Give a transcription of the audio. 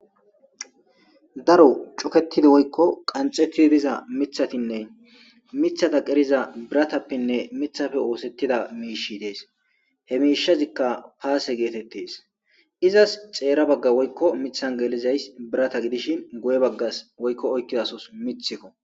Daro cuketidi woykko qanxettidi diza mithatinne mithata qeriza biratappenne mithappe oosettida miishi dees he miishazikka paase geetettes izas xeera bagga woykko mithan geelizays birata gidishin goye baggas woykko oykkidasos mithikko.